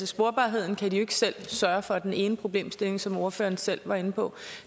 sporbarheden kan de jo ikke selv sørge for altså den ene problemstilling som ordføreren selv var inde på